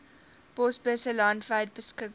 posbusse landwyd beskikbaar